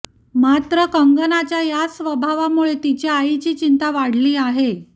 मात्र कंगनाच्या याच स्वभावामुळे तिच्या आईची चिंता वाढली आहे